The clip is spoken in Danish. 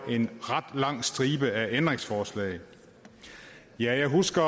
en ret lang stribe ændringsforslag jeg husker